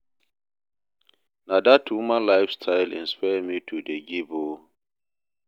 Na dat woman life style inspire me to dey give o.